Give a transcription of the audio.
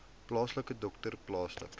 plaaslike dokter plaaslike